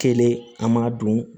Kelen an m'a dun